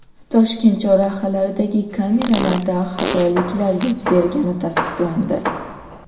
Toshkent chorrahalaridagi kameralarda xatoliklar yuz bergani tasdiqlandi .